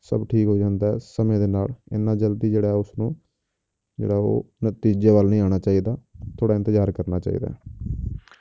ਸਭ ਠੀਕ ਹੋ ਜਾਂਦਾ ਹੈ ਸਮੇਂ ਦੇ ਨਾਲ ਇੰਨਾ ਜ਼ਲਦੀ ਜਿਹੜਾ ਉਸਨੂੰ ਜਿਹੜਾ ਉਹ ਨਤੀਜੇ ਵੱਲ ਨਹੀਂ ਆਉਣਾ ਚਾਹੀਦਾ, ਥੋੜ੍ਹਾ ਇੰਤਜ਼ਾਰ ਕਰਨਾ ਚਾਹੀਦਾ ਹੈ